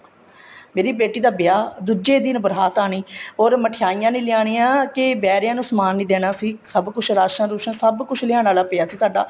ਮੇਰੀ ਬੇਟੀ ਦਾ ਵਿਆਹ ਦੂਜੇ ਦਿਨ ਬਰਾਤ ਆਣੀ or ਮਿਠਾਈਆਂ ਨਹੀਂ ਲਿਆਨੀਆਂ ਕੇ ਬਹਿਰਿਆਂ ਨੂੰ ਸਮਾਨ ਨਹੀਂ ਦੇਣਾ ਸੀ ਸਭ ਕੁੱਛ ਰਾਸ਼ਣ ਰੁਸ਼ਨ ਸਭ ਕੁੱਚ ਲਿਆਣ ਵਾਲਾ ਪਇਆ ਸੀ ਸਾਡਾ